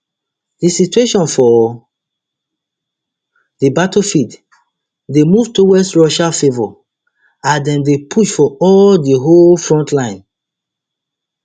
di situation for di battlefield dey move towards russia favour as dem dey push for all di whole frontline